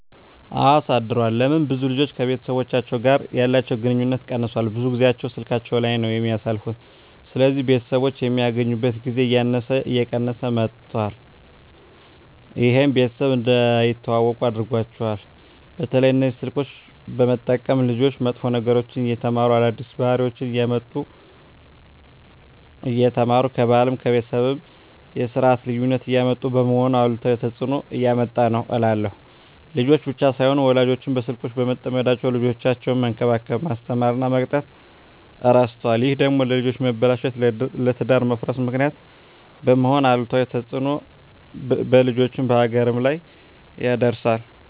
አወ አሳድሯል ለምን ብዙ ልጆች ከቤተሰቦቻቸው ጋር ያለቸዉ ግንኙነት ቀነሷል ብዙ ጊያቸዉን ስላካቸዉ ላይ ነዉ የሚያሳልፉት ስለዚህ ቤተሰቦች የሚገናኙበት ጊዜ እያነሰ እየቀነሰ መጧት ይሄም ቤተሰብ እንዳይተዋወቁ አድርጓቸዋል። በተለይ እነዚህ ስልኮችን በመጠቀም ልጆች መጥፎ ነገሮችን እየተማሩ አዳዲስ ባህሪወችነሰ እያመጡ እየተማሩ ከባህልም ከቤተሰብም የስርት ልዩነት እያመጡ በመሆኑ አሉታዊ ተጽእኖ እያመጣ ነዉ እላለሁ። ልጆች ብቻም ሳይሆኑ ወላጆችም በስልኮች በመጠመዳቸዉ ልጆቻቸዉነሰ መንከባከብ፣ መስተማር እና መቅጣት እረስተዋል ይሄ ደግሞ ለልጆች መበላሸት ለትዳር መፍረስ ምክንያት በመሄን አሉታዊ ተጽእኖ በልጆችም በሀገርም ላይ ያደርሳል።